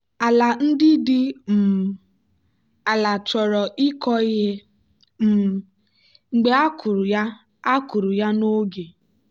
ala ndị dị um ala chọrọ ịkọ ihe um mgbe a kụrụ ya a kụrụ ya n'oge.